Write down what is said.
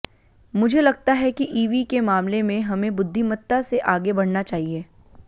मुझे लगता है कि ईवी के मामले में हमें बुद्धिमत्ता से आगे बढऩा चाहिए